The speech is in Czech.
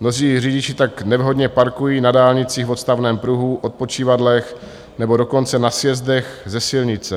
Mnozí řidiči tak nevhodně parkují na dálnicích v odstavném pruhu, odpočívadlech, nebo dokonce na sjezdech ze silnice.